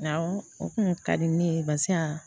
Awɔ o kun ka di ne ye barisa